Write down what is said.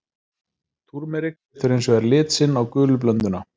Túrmerik setur hins vegar lit sinn á gulu blönduna.